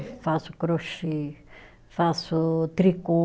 Eu faço crochê, faço tricô.